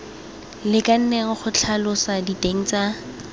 lekaneng go tlhalosa diteng tsa